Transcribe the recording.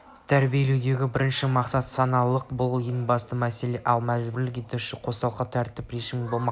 тәрбиелеудегі бірінші мақсат саналылық бұл ең басты мәселе ал мәжбүр етушілік қосалқы тәртіп режимі болмақ